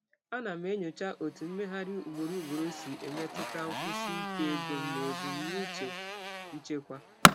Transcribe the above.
Ana m enyocha ka mgbagharị ugboro ugboro si emetụta nkwụsi ike ego m na ebumnuche nchekwa m.